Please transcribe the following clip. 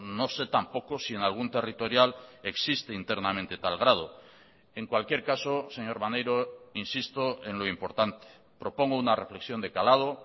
no sé tampoco si en algún territorial existe internamente tal grado en cualquier caso señor maneiro insisto en lo importante propongo una reflexión de calado